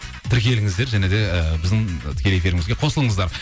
тіркеліңіздер және де і біздің тікелей эфирімізге қосылыңыздар